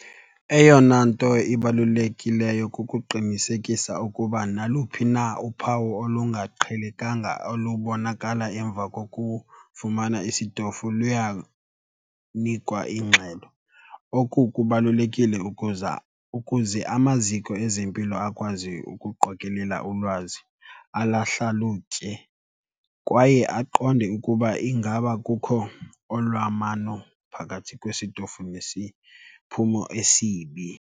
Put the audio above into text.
Eyona nto ibalulekileyo kukuqinisekisa ukuba naluphi na uphawu olungaqhelekanga olubonakala emva kokufumana isitofu luyanikwa ingxelo. Oku kubalulekile ukuza, ukuze amaziko ezempilo akwazi ukuqokelela ulwazi, alahlalutye kwaye aqonde ukuba ingaba kukho olwamano phakathi kwesitofu nesiphumo esibi.